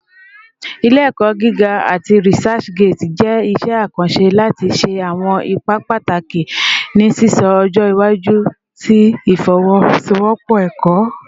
Ile-ẹkọ giga ati ResearchGate jẹ iṣẹ akanṣe lati ṣe awọn ipa pataki ni sisọ ọjọ iwaju ti ifowosowopo ẹkọ.